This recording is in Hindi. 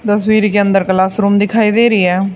तस्वीर के अंदर क्लास रूम दिखाई दे रहे है।